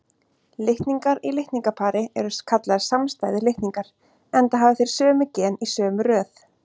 Litningar í litningapari eru kallaðir samstæðir litningar, enda hafa þeir sömu gen í sömu röð.